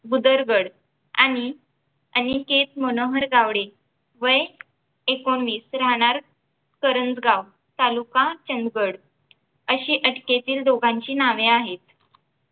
भूदरगड आणि आनिकेत मनोहर गावडे वय एकोणीस राहणार करंजगाव तालुका चंदगड अशी अटकेतील दोघांची नवे आहेत